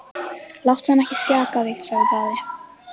Láttu hana ekki þjaka þig, sagði Daði.